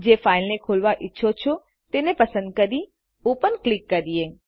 જે ફાઈલને ખોલવા ઈચ્છો છો તેને પસંદ કરી ઓપન ક્લિક કરીએ